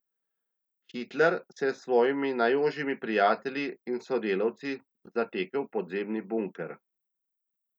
Hitler se je s svojimi najožjimi prijatelji in sodelavci zatekel v podzemni bunker.